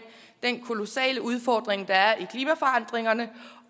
den kolossale udfordring der er i klimaforandringerne